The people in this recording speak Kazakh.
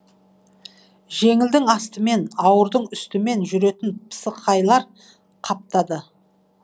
жеңілдің астымен ауырдың үстімен жүретін пысықайлар қаптады